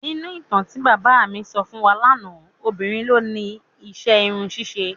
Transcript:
Nínú ìtàn tí bàbá mi sọ fún wa lánàá, obìnrin ló ni iṣẹ́ irun ṣíṣe.